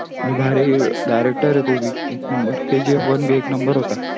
भारी director हे तो भी एक नंबर kgfone भी एक नंबर होता